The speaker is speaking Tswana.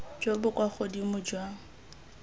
jo bo kwa godimo jwa